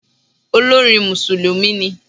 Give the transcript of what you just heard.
Olórin Mùsùlùmí ni.